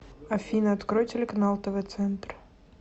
афина открой телеканал тв центр